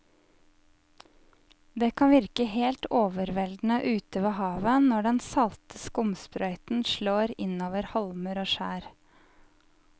Det kan virke helt overveldende ute ved havet når den salte skumsprøyten slår innover holmer og skjær.